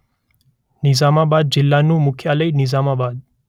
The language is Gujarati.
નિઝામાબાદ જિલ્લાનું મુખ્યાલય નિઝામાબાદ